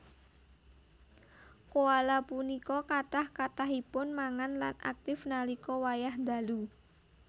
Koala punika kathah kathahipun mangan lan aktif nalika wayah dalu